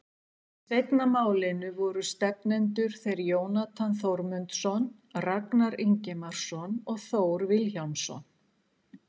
Í seinna málinu voru stefnendur þeir Jónatan Þórmundsson, Ragnar Ingimarsson og Þór Vilhjálmsson.